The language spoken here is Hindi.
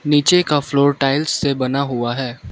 नीचे का फ्लोर टाइल्स से बना हुआ है।